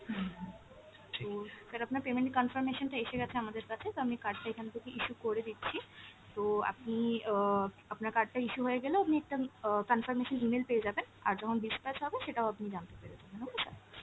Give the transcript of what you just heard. হুম হুম, তো sir আপনার payment confirmation টা এসে গেছে আমাদের কাছে তো আমি card টা এখান থেকে issue করে দিচ্ছি, তো আপনি অ আপনার card টা issue হয়ে গেলে আপনি একটা অ confirmation email পেয়ে যাবেন, আর যখন dispatch হবে সেটাও আপনি জানতে পেরে যাবেন okay sir।